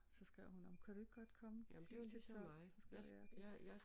Så skrev hun nåh men kan du ikke godt komme 10 til 12 så skrev jeg